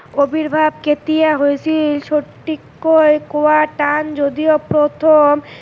অবিৰ্ভাৱ কেতিয়া হৈছিল সথিককৈ কোৱাৰ টান যদিহে প্ৰথম